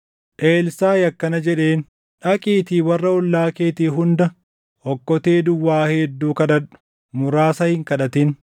Elsaaʼi akkana jedheen; “Dhaqiitii warra ollaa keetii hunda okkotee duwwaa hedduu kadhadhu. Muraasa hin kadhatin.